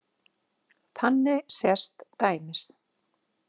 Þannig sést dæmis.